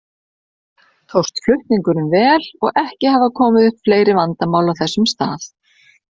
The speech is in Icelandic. Tókst flutningurinn vel og ekki hafa komið upp fleiri vandamál á þessum stað.